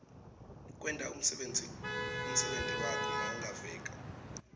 kwenta umsebenti wakho mawungaveka